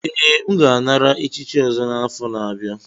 Ee, m ga-anara echichi ọzọ n'afọ na-abịa.